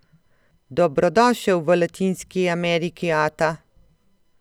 Dobrodošel v Latinski Ameriki, ata!